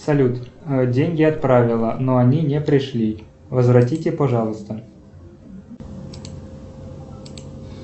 салют деньги отправила но они не пришли возвратите пожалуйста